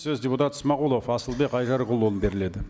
сөз депутат смағұлов асылбек айжарықұлына беріледі